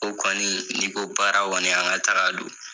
O kɔni, n'i ko baara kɔni an ka taga don.